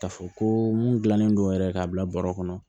K'a fɔ ko mun dilannen don yɛrɛ ka bila bɔrɔ kɔnɔ